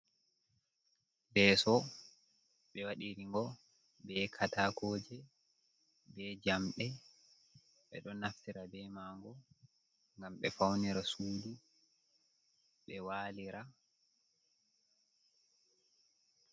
Leso ɓe wadiri ngo be katakoje be jamɗe, ɓe ɗo naftira be mago ngam ɓe faunira sudu ɓe walira.